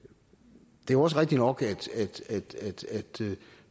det er jo også rigtigt nok at